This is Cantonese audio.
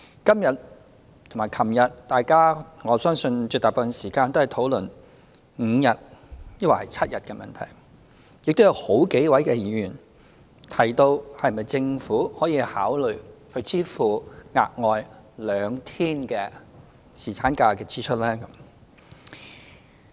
今天和昨天大家絕大部分時間也在討論5天抑或是7天侍產假的問題，亦有好幾位議員提到，政府是否可以考慮支付額外兩天侍產假薪酬的支出。